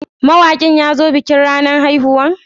Mawakin ya zo bikin ranan haihuwan?